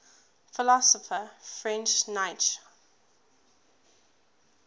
philosopher friedrich nietzsche